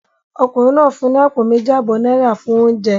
Ọkùnrin náà fún ní àpò méjì àbọ̀ náírà fún oúnjẹ